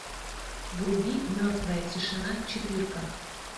вруби мертвая тишина четырка